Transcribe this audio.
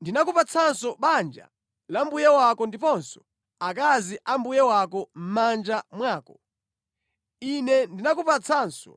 Ndinakupatsanso banja la mbuye wako ndiponso akazi a mbuye wako mʼmanja mwako. Ine ndinakupatsanso